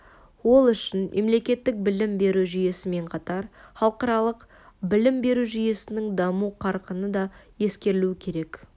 ол үшін мемлекеттік білім беру жүйесімен қатар халықаралық білім беру жүйесінің даму қарқыны да ескерілуі керек